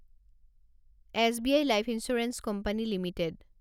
SBI life insurance company limited